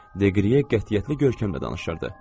Deqriyə qətiyyətli görkəmlə danışırdı.